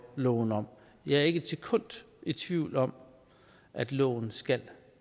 loven om jeg er ikke et sekund i tvivl om at loven skal